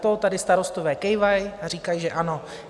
To tady starostové kývají a říkají, že ano.